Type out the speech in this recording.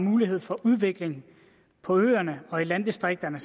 mulighed for udvikling på øerne og i landdistrikterne